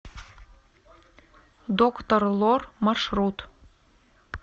доктор лор маршрут